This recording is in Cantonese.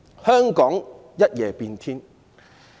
香港可謂一夜變天。